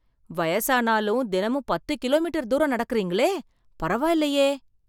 வயசானாலும், தினமும் பத்து கிலோமீட்டர் தூரம் நடக்கறீங்களே, பரவாயில்லையே.